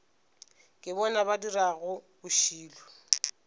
ke bona ba dirago bošilo